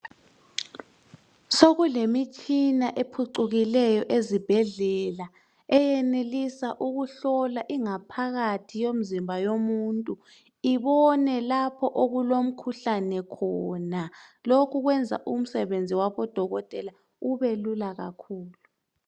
Sokule mitshina ephucukileyo ezibhedlela eyenelisa ukuhlola ingaphakathi yomuntu ibone lapho okulomkhuhlane khona ,lokhu kwenza umsebenzi wabo dokotela ube lula kakhulu .